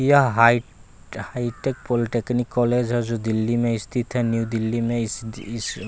यह high hitech polytechnic college है जो दिल्ली में स्थित है न्यू दिल्ली में इस इस--